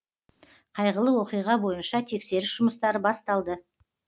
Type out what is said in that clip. қайғылы оқиға бойынша тексеріс жұмыстары басталды